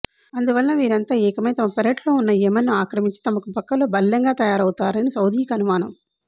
అందువలన వీరంతా ఏకమై తమ పెరట్లో వున్న యెమెన్ను ఆక్రమించి తమకు పక్కలో బల్లెంగా తయారవుతారని సౌదీకి అనుమానం